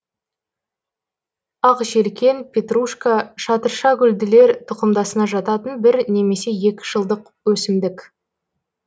ақжелкен петрушка шатыршагүлділер тұқымдасына жататын бір немесе екі жылдық өсімдік